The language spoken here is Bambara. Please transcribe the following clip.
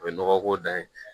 O ye nɔgɔ ko dan ye